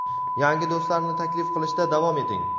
yangi do‘stlarni taklif qilishda davom eting!.